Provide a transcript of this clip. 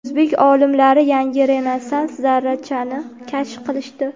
O‘zbek olimlari yangi rezonans zarrachani kashf qilishdi.